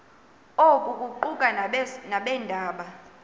oku kuquka nabeendaba